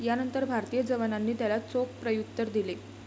यानंतर भारतीय जवानांनी त्याला चोख प्रत्युत्तर दिले.